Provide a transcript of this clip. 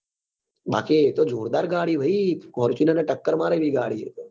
બાકી એ તો જોરદાર ગાડી હે ભાઈ fortuner ને ટક્કર મારે એવી ગાડી હે એ તો